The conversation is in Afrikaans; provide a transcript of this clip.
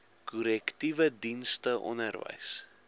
korrektiewe dienste onderwys